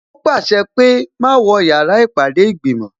Ó pàṣẹ pé "má wọ yàrá ìpàdé ìgbìmò"